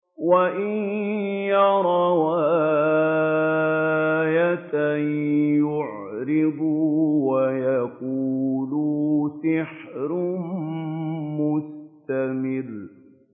وَإِن يَرَوْا آيَةً يُعْرِضُوا وَيَقُولُوا سِحْرٌ مُّسْتَمِرٌّ